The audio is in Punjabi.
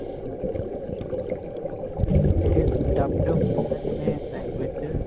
ਇਹ series dubbed ਹੁੰਦੀ ਹੈ ਨਾਂ ਜਿਵੇਂ language ਚ